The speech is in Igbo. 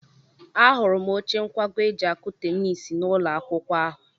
Ahụrụ m oche nkwago e ji akụ tenisi n'ụlọ akwụkwọ ahụ.